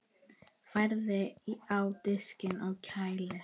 Færið á disk og kælið.